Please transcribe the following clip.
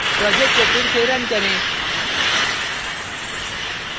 project को फिर से रन करें